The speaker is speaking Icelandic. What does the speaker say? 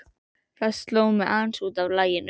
Það sló mig aðeins út af laginu.